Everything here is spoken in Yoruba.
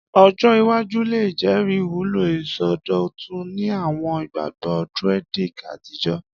Ọjọ iwaju le jẹri iwulo isọdọtun ni awọn igbagbọ Druidic atijọ.